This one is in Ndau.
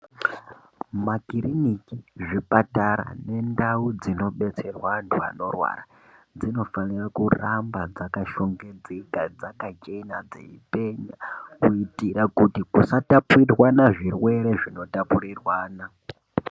Makiriniki, zvipatara nendau dzinodetserwa antu anorwara dzinofanira kuramba dzakashongedzeka, dzakachena dzeipenya, kuitira kuti kusatapuriranwa zvirwere zvinotapuriranwa.